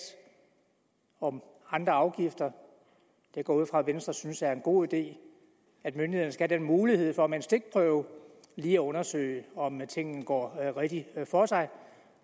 og andre afgifter jeg går ud fra at venstre synes at det er en god idé at myndighederne skal have den mulighed for med en stikprøve lige at undersøge om tingene går rigtigt for sig